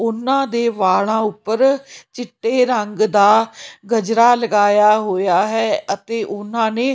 ਉਨਾਂ ਦੇ ਵਾਲਾਂ ਉੱਪਰ ਚਿੱਟੇ ਰੰਗ ਦਾ ਗਜਰਾ ਲਗਾਇਆ ਹੋਇਆ ਹੈ ਅਤੇ ਉਹਨਾਂ ਨੇ--